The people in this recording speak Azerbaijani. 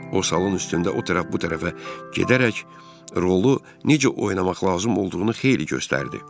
O salon üstündə o tərəf bu tərəfə gedərək rolu necə oynamaq lazım olduğunu xeyli göstərdi.